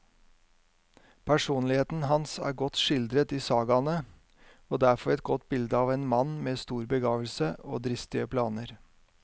Personligheten hans er godt skildret i sagaene, og der får vi et bilde av en mann med stor begavelse og dristige planer.